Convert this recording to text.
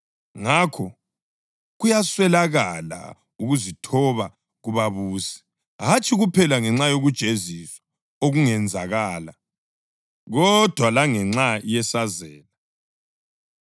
Ngakho, kuyaswelakala ukuzithoba kubabusi, hatshi kuphela ngenxa yokujeziswa okungenzakala, kodwa langenxa yesazela.